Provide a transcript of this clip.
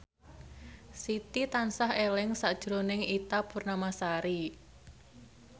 Siti tansah eling sakjroning Ita Purnamasari